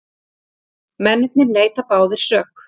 Mennirnir neita báðir sök